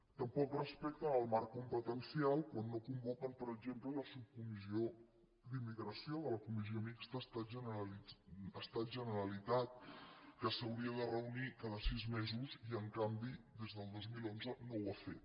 tampoc respecten el marc competencial quan no convoquen per exemple la subcomissió d’immigració de la comissió mixta estat generalitat que s’hauria de reunir cada sis mesos i en canvi des del dos mil onze no ho ha fet